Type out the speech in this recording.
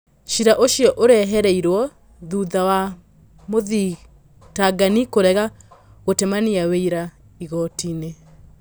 Cira ũcio ũreheririo thuta wa mũthitangani kũrega gũtemania wĩ ira igotinĩ